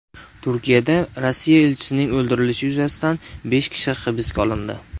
Turkiyada Rossiya elchisining o‘ldirilishi yuzasidan besh kishi hibsga olindi.